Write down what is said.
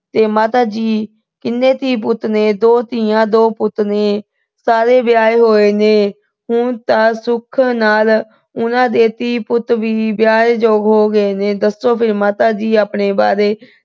ਤੇ ਮਾਤਾ ਜੀ, ਕਿੰਨੇ ਧੀ-ਪੁੱਤ ਨੇ। ਦੋ ਧੀਆਂ, ਦੋ ਪੁੱਤ ਨੇ। ਸਾਰੇ ਵਿਆਹੇ ਹੋਏ ਨੇ। ਹੁਣ ਤਾਂ ਸੁੱਖ ਨਾਲ ਉਹਨਾਂ ਦੇ ਧੀ-ਪੁੱਤ ਵੀ ਵਿਆਹ ਯੋਗ ਹੋ ਗਏ ਨੇ। ਦੱਸੋ ਫਿਰ ਮਾਤਾ ਜੀ, ਆਪਣੇ ਬਾਰੇ।